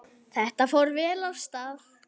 Þetta fór vel af stað.